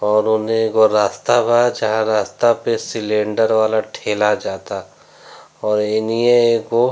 और ओने एगो रास्ता बा जहाँ रास्ता पे सिलेंडर वाला ठेला जाता और एनीये एगो --